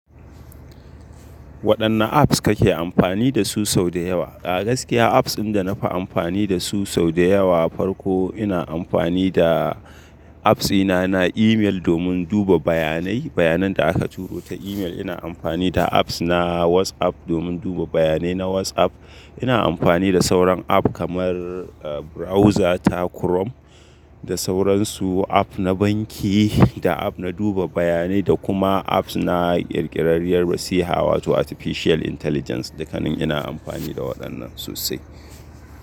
Waɗanne apps kake amfani da su sau da yawa? A gaskiya apps ɗin da na fi amfani da su sau da yawa farko ina amfani da apps dina na email domin duba bayanai, bayanan da aka turo ta email. Ina amfani da apps na WhatsApp domin duba bayanai na WhatsApp. Ina amfani da sauran app kamar browser ta Chrome da sauransu app na banki da app na duba bayanai da kuma apps na ƙirƙirariyar rasiha wato artificial intelligence. Dukkanin ina amfani da waɗannan sosai.